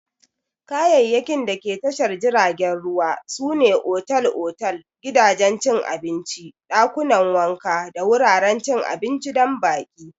Kayayyakin dake tashar jiragen ruwa sune otal-otal, gidajen cin abinci, ɗakunan wanka da wuraren cin abinci don baƙi.